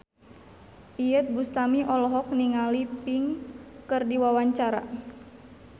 Iyeth Bustami olohok ningali Pink keur diwawancara